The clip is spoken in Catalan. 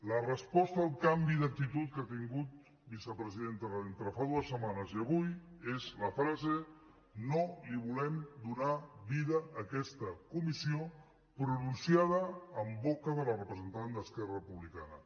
la resposta al canvi d’actitud que ha tingut vicepresidenta entre fa dues setmanes i avui és la frase no volem donar vida a aquesta comissió pronunciada en boca de la representant d’esquerra republicana